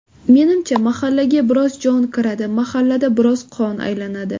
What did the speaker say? Menimcha, mahallaga biroz jon kiradi, mahallada biroz qon aylanadi.